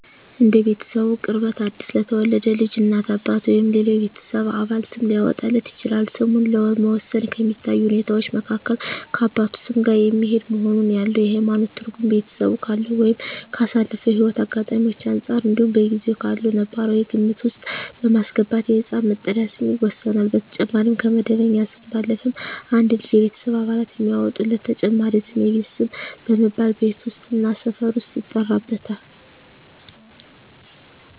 እንደ ቤተሰቡ ቅርበት አዲስ ለተወለደ ልጅ እናት፣ አባት ወይም ሌላው የቤተሰብ አባል ስም ሊያወጣለት ይችላል። ስምን ለመወሰን ከሚታዩ ሁኔታወች መካከል ከአባቱ ስም ጋር የሚሄድ መሆኑን፣ ያለው የሀይማኖት ትርጉም፣ ቤተሰቡ ካለው ወይም ካሳለፈው ህይወት አጋጣሚወች አንፃር እንዲሁም በጊዜው ካለው ነባራዊ ግምት ውስጥ በማስገባት የህፃን መጠሪያ ስም ይወሰናል። በተጨማሪም ከመደበኛ ስሙ ባለፈም አንድ ልጅ የቤተሰብ አባላት የሚያወጡለት ተጨማሪ ስም የቤት ስም በመባል ቤት ውስጥ እና ሰፈር ውስጥ ይጠራበታል።